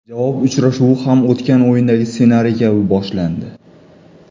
Javob uchrashuvi ham o‘tgan o‘yindagi ssenariy kabi boshlandi.